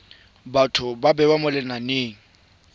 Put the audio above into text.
batho ba bewa mo lenaneng